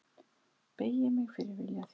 Beygi mig fyrir vilja þínum.